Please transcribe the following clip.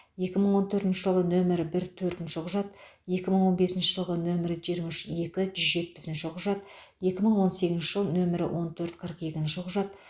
екі мың он төртінші жылғы нөмірі бір төртінші құжат екі мың он бесінші жылғы нөмірі жиырма үш екі жүз жетпісінші құжат екі мың он сегізінші жыл нөмірі он төрт қырық екінші құжат